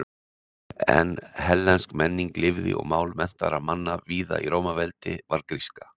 En hellensk menning lifði og mál menntaðra manna víða í Rómaveldi var gríska.